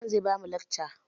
Liman zai ba mu lacca